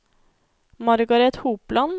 Margaret Hopland